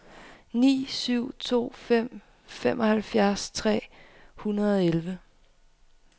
ni syv to fem femoghalvfjerds tre hundrede og elleve